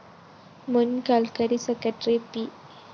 മുന്‍ കല്‍ക്കരി secretary P